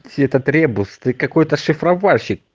этот ребус ты какой-то шифровальщик